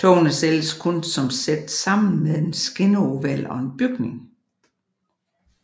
Togene sælges kun som sæt sammen med en skinneoval og en bygning